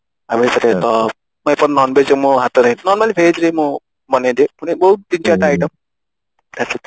ଆଉ ଏଇଥିରେ ତ Non Veg ରେ ମୋ ହାତ ନାଇଁ normally Veg ରେ ମୁଁ ବନେଇ ଦିଏ ମାନେ ବହୁତ ନୁହେଁ ଦି ଚାରିଟା item